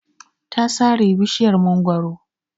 Ta sare bishiyar mangwaro.